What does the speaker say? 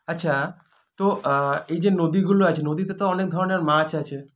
আচ্ছা তো আ এইযে নদীগুলো আছে নদীতে তো অনেক ধরনের মাছ আছে